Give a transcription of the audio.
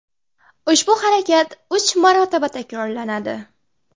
Ushbu harakat uch marotaba takrorlanadi.